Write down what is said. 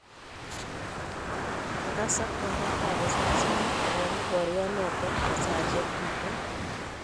kagasak wagaat ap risaisnik kowalu paryonoton en saisiek tuten